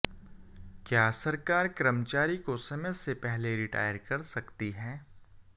क्या सरकार कर्मचारी को समय से पहले रिटायर कर सकती है